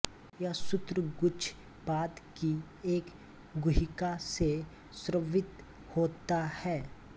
यह सूत्रगुच्छ पाद की एक गुहिका से स्रवित होता है